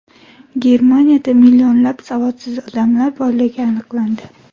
Germaniyada millionlab savodsiz odamlar borligi aniqlandi.